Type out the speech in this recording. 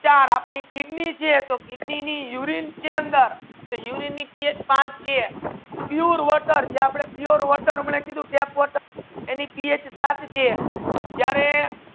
ચાર આપની કિડની છે તો કિડની ની urine છે અંદર થી urine ની પીએચ પાંચ છે pure water યે આપડે pure water માને કીધુ tap water એનિ પીએચ સાત છે